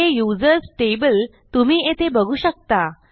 हे users table तुम्ही येथे बघू शकता